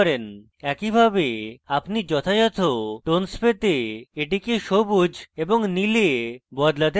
একইভাবে আপনি যথাযত tones পেতে এটিকে সবুজ এবং নীলে বদলাতে পারেন